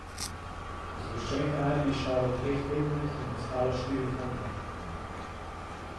Zgoščenka naj bi izšla v treh tednih in bo stala štiri funte.